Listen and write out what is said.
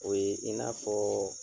O ye i n'a fɔɔ